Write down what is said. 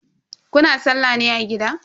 Kuna sallah ne a gida?